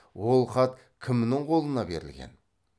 ол хат кімнің қолына берілген